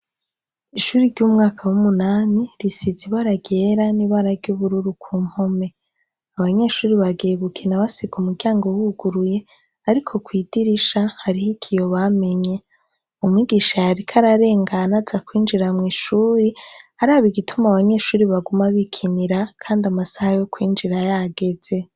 Ishure ry’umwaka w’umunani risize ibara ryera n’ibara ry’ubururu ku mpome, abanyeshure bagiye gukina basiga umuryango wuguruye ariko kw’idirisha hariho ikiyo bamenye, umwigisha yariko ararengana aza kwinjira mw’ishure araba igituma abanyeshure baguma bikinira kandi amasaha yo kwinjira yageze.